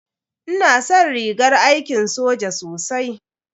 Ina san rigar aiki soja sosai.